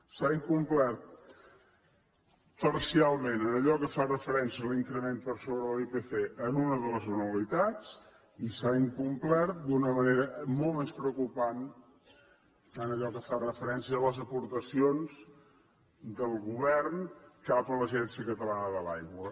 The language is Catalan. s’ha incomplert parcialment en allò que fa referència a l’increment per sobre de l’ipc en una de les anualitats i s’ha incomplert d’una manera molt més preocupant en allò que fa referència a les aportacions del govern cap a l’agència catalana de l’aigua